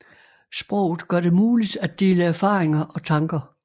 Sproget gør det muligt at dele erfaringer og tanker